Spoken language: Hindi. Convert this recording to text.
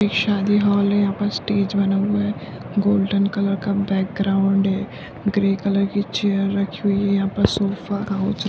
एक शादी हॉल है यहाँ पे स्टेज बना हुआ है गोल्डन कलर का बैक ग्राउंड है ग्रे कलर की चेयर रखी हुई है यहाँ पे सोफा --